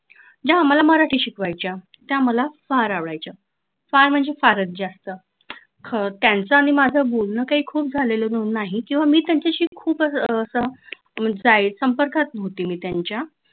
ज्या आम्हाला मराठी शिकवायच्या त्या मला फार आवडायचं फार म्हणजे फारच जास्त त्यांचा आणि माझं काय बोलणं खूप जास्त खूप झालेले नाही किंवा मी त्यांच्याशी खूप संपर्कात नव्हती मी त्यांच्या